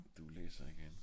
du læser ikke andet